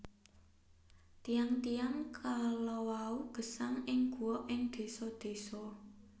Tiyang tiyang kalawau gesang ing goa ing désa désa